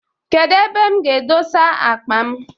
Kedu ebe m ga edosa akpa m?